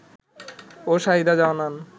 ও শাহিদা জানান